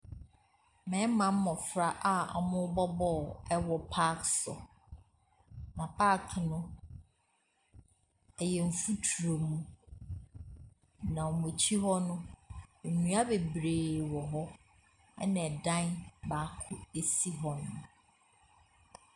Mmarima mmɔfra a wɔrebɔ ball wɔ park so. Na paake no, ɛyɛ mfuturo mu. Na wɔn akyi hɔ no, nnua bebree wɔ hɔ, ɛna dan baako si hɔ.